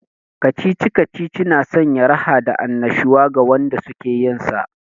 Kacici-kacici na sanya raha da annashuwa ga wanda suke yinsa